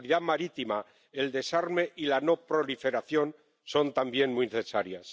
la seguridad marítima, el desarme y la no proliferación son también muy necesarios.